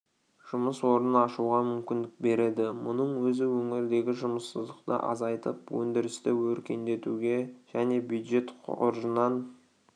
жұмыс орнын ашуға мүмкіндік береді мұның өзі өңірдегі жұмыссыздықты азайтып өндірісті өркендетуге және бюджет қоржынын